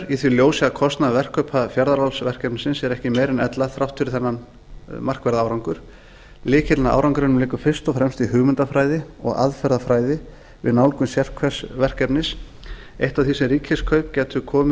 í því ljósi að kostnaður verkkaupa fjarðaálsverkefnisins er ekki meiri en ella þrátt fyrir þennan markverða árangur lykillinn að árangrinum liggur fyrst og fremst í hugmyndafræði og aðferðafræði við nálgun sérhvers verkefnis eitt af því sem ríkiskaup